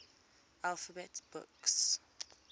alphabet books